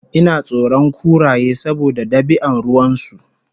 inatsoron kuraye saboda dabian ruwansu